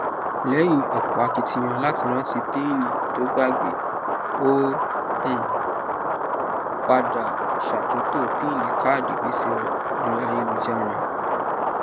lẹyìn ọpọ akitiyan láti rántí píínì to ógbàgbé ó um padà ṣàtúntò píínì káàdì gbèsè rẹ lórí ayélujára